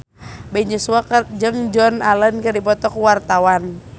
Ben Joshua jeung Joan Allen keur dipoto ku wartawan